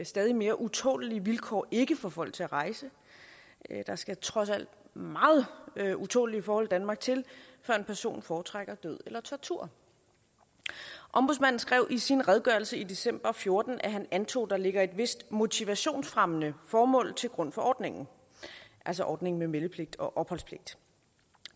stadig mere utålelige vilkår ikke får folk til at rejse der skal trods alt meget utålelige forhold i danmark til før en person foretrækker død eller tortur ombudsmanden skrev i sin redegørelse i december og fjorten at han antog at der ligger et vist motivationsfremmende formål til grund for ordningen altså ordningen med meldepligt og opholdspligt